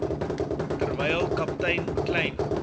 terwyl kaptein kleyn